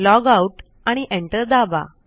logout आणि enter दाबा